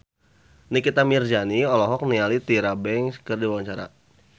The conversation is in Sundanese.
Nikita Mirzani olohok ningali Tyra Banks keur diwawancara